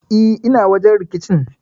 E, ina wajen rikicin.